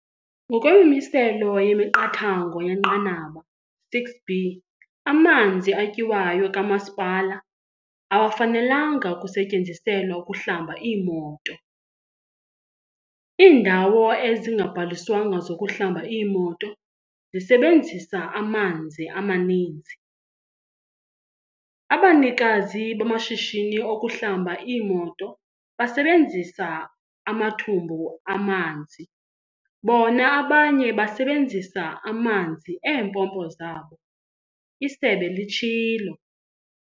"Ngokwemimiselo yemiqathango yenqanaba 6B, amanzi atyiwayo kamasipala awafenalanga kusetyenziselwa ukuhlamba iimoto. Iindawo ezingabhaliswanga zokuhlamba iimoto zisebenzisa amanzi amaninzi. Abanikazi bamashishini okuhlamba iimoto basebenzisa amathumbu amanzi, bona abanye basebenzisa amanzi eempompo zabo," isebe litshilo.